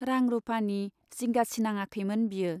रां रुपानि जिंगा सिनाङाखैमोन बियो।